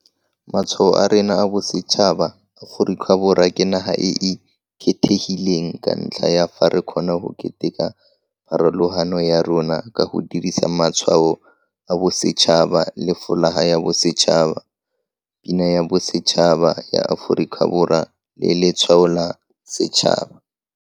Letsholo la Maditshegetso a go Tlhola Ditiro la Moporesitente le neelana ka phimolakeledi mo malapeng a a itshoketseng mariga a matelele a a boima ka mogolo o o neng o ngotlilwe thata, mmogo le mo baaging ba ba ntseng ba sena ditiro sebaka sa dingwaga di sena palo.